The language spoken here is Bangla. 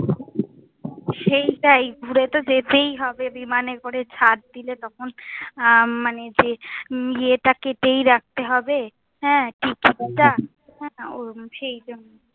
সেইটাই। ঘুরে তো যেতেই হবে বিমানে করে ছাড় দিলে তখন হম মানে যে ইয়েটা কেটেই রাখতে হবে। হ্যাঁ ticket টা, ওরম সেই জন্য।